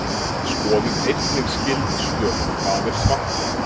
Skoðið einnig skyld svör: Hvað er svarthol?